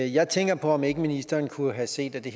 jeg tænker på om ikke ministeren kunne have set at det